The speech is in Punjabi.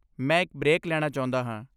ਮੈਂ ਇੱਕ ਬ੍ਰੇਕ ਲੈਣਾ ਚਾਹੁੰਦਾ ਹਾਂ।